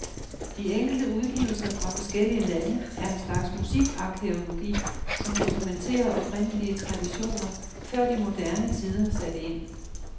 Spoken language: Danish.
De enkelte udgivelser fra forskellige lande er en slags musikarkæologi, som dokumenterer oprindelige traditioner, før de moderne tider satte ind.